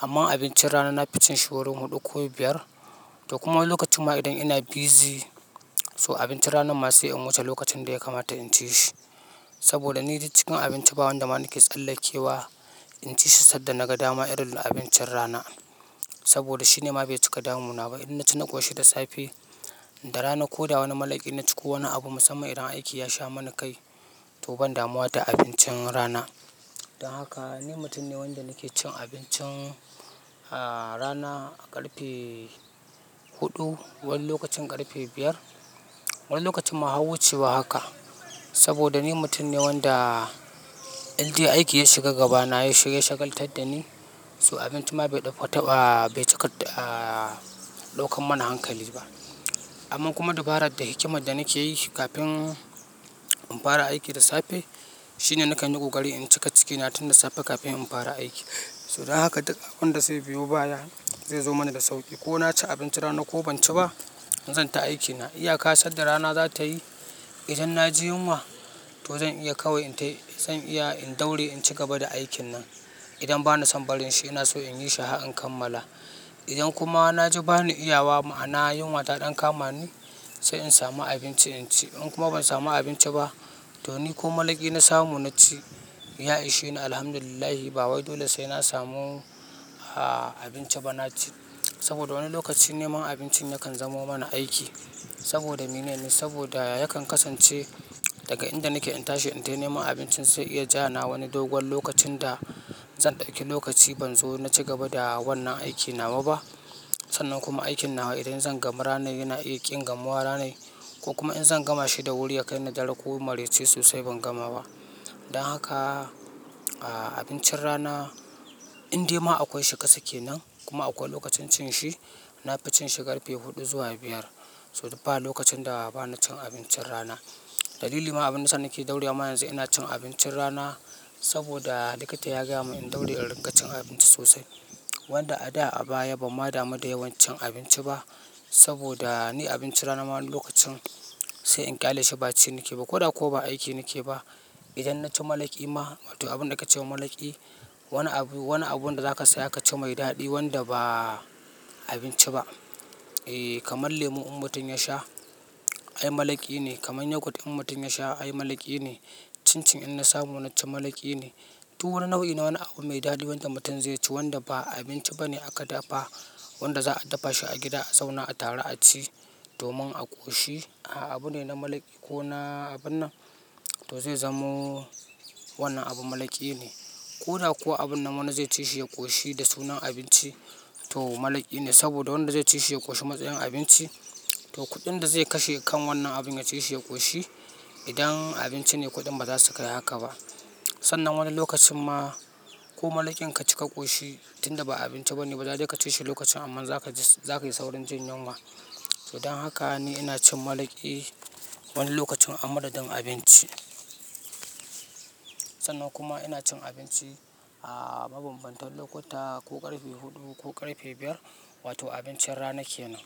Amma abincin rana na fice shi wurin huɗu ko biyar. To kuma wani lokacin ma idan ina busy, so abincin rana masa ya yi wuce lokacin da ya kamata in ci shi. Saboda ni cikn abinci ba wanda ma nake tsallakewa in ci shi sadda na ga dama irin abincin rana. Saboda shi ne ma bai cika damunaba. In na ci na ƙoshi da safe, da rana ko da wani mala'ki na ci ko wani abu musamman idan aiki ya sha mana kai to ban damu da abincin rana. Don haka ni mutum ne wanda nake cin abincin a rana a ƙarfe huɗu, wani lokacin ƙarfe biyar. Wani lokacin ma a wucewa haka. Saboda ni mutum ne wanda in dai aiki ya shiga gaba na ya shagaltadda ni, so abinci ma bai ɗauka lokan mana hankali ba. Amma kuma dabarar da hikimar da nake yi kafin in fara aiki da safe, shi ne nakan yi ƙokaari in cika cikina tun da safe kafin in fara aiki. So dan haka duka abin da zai biyo baya zai zo mana da sauƙi. Ko na ci abinci rana ko ban ci ba, zan ta aiki na. Iya ka sadda rana za ta yi idan na ji yunwa to zan iya kawai in tai zan iya in daure in ci gaba da aikin nan. Idan bana son barin shi ina so in yi shi har in kammala. Idan kuma na ji bani iyawa ma'ana yunwa ta ɗan kama ni sai in samu abinci in ci. In kuma ban samu abinci ba to ni ko mala'ki na samu na ci. Ya'yi shi ne alhamdulillah ba wai dole sai na samu abinci ba na ci. Saboda wani lokacin neman abincin yakan zama mana aiki. Saboda minine saboda yakan kasance daga inda nake in tashi in tai neman abincin sai iya ja na wani dogon lokacin da zan ɗauki lokaci ban zo na ci gaba da wannan aikin nawaba. Sannan kuma aikin nawa idan zan gama rana yana iya ƙi gama rana. Ko kuma in zan gama shi da wuri ya kai ni dare ko marice sosai ban gama ba. Don haka abincin rana in dai ma akwai shi ƙasa kenan kuma akwai lokacin cin shi, na fi cin shi ƙarfe huɗu zuwa biyar. So ba lokacin da bana cin abincin rana. Dalili ma abin da sani ke daurewa yanzu ina cin abincin rana saboda likita ya gaya mun in daure in riƙa cin abinci sosai. Wanda a da a baya bam ma damu da yawan cin abinci ba. Saboda ni abinci rana wani lokacin sai in ƙyaleshi ba ci nake ba ko da kuwa ba aiki nake ba. Idan na ci mala'ki ma wato abun da aka ce wa mala'ki, wani abu, wani abun da za ka saya ka ci mai daɗi wanda ba abinci ba. Eh kamar lemu in mutum ya sha ai mala'ki ne. Kamar yogurt in mutum ya sha ai mala'ki ne. Cin cin in na samu na ci mala'ki ne. To wani nau'i na wani abu mai daɗi wanda mutum zai ci wanda ba abinci ba ne aka dafa, wanda za a dafa shi a gida a zauna a tara a ci domin a ƙoshi. A'a abu ne na mala'ki ko na abun nan to zai zamo wannan abu mala'ki ne. Ko da kuwa abun nan wanda zai ci shi ya ƙoshi da sunan abinci to mala'ki ne. Saboda wanda zai ci shi ya ƙoshi matsayin abinci to kuɗin da zai kashe kan wannan abun ya ci shi ya ƙoshi idan abinci ne kuɗin ba za su kai haka ba. Sannan wani lokacin ma ko mala'kin ka ci ka ƙoshi tunda ba abinci ba ne ba zai je ka ci shi lokacin amma za ka ji, za ka yi saurin jin yunwa. So dan haka ni ina cin mala'ki wani lokacin a madadin abinci. Sannan kuma ina cin abinci a mabambantan lokuta ko ƙarfe huɗu ko ƙarfe biyar wato abincin rana kenan.